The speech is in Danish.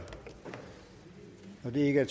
ikke